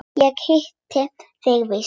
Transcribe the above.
Ég hitti þig víst!